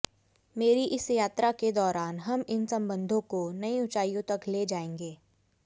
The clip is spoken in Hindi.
मेरी इस यात्रा के दौरान हम इन संबंधों को नई ऊंचाइयों तक ले जाएंगे